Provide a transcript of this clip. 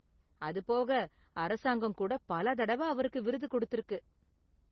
அது போக அரசாங்கம் கூட பல தடவ அவருக்கு விருது கொடுத்திருக்கு.